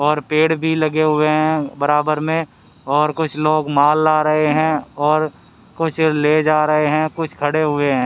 और पेड़ भी लगे हुए हैं बराबर में और कुछ लोग माल ला रहे हैं और कुछ ले जा रहे हैं कुछ खड़े हुए हैं।